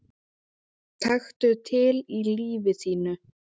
Taktu til í lífi þínu!